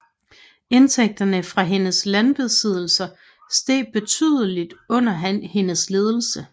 Indtægterne fra hendes landbesiddelser steg betydeligt under hendes ledelse